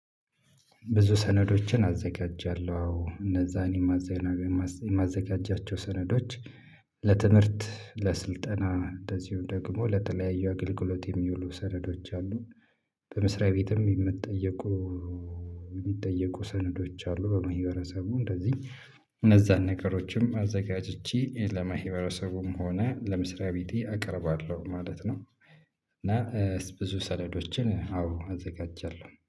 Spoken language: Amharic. ብዙ ሰነዶችን አዘጋጃለሁ አዎ እነዛን የማዘጋጃቸው ሰነዶች ለትምህርት፣ ለስልጠና እንደዚሁ ደግሞ ለተለያዩ አገልግሎት የሚውሉ ሰነዶች አሉ፤ በመስሪያ ቤትም የሚጠየቁ የሚጠየቁ ሰነዶች አሉ፤ በመህበረሰቡ እንደዚህ እነዛን ነገሮችም አዘጋጅቼ ለማህበረሰቡም ሆነ ለመስሪያ ቤቴ አቀርባለሁ ማለት ነው እና ብዙ ሰለዶችን አዎ አዘጋጃለሁ።